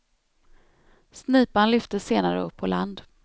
Snipan lyftes senare upp på land.